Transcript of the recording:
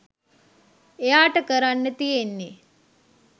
එයාට කරන්න තියෙන්නේ